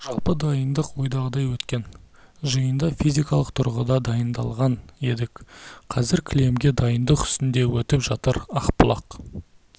жалпы дайындық ойдағыдай өткен жиында физикалық тұрғыда дайындалған едік қазір кілемге дайындық үстінде өтіп жатыр ақбұлақ